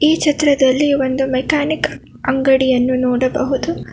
ಈ ಚಿತ್ರದಲ್ಲಿ ಒಂದು ಮೆಕಾನಿಕ್ ಅಂಗಡಿಯನ್ನು ನೋಡಬಹುದು.